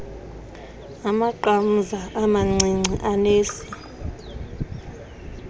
amaqamza amancinci anesi